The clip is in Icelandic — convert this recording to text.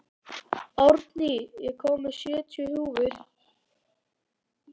Árný, ég kom með sjötíu húfur!